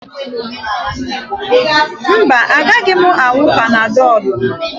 Mba, agaghị m aṅụ Panadọlụ.